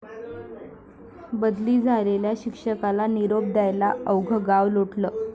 बदली झालेल्या शिक्षकाला निरोप द्यायला अवघं गाव लोटलं!